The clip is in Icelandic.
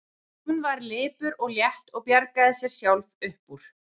En hún var lipur og létt og bjargaði sér sjálf upp úr.